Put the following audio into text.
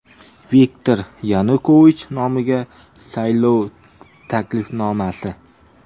Viktor Yanukovich nomiga saylov taklifnomasi.